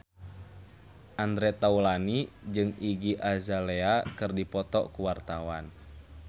Andre Taulany jeung Iggy Azalea keur dipoto ku wartawan